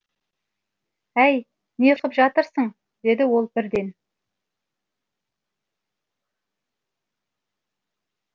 әй не қып жатырсың деді ол бірден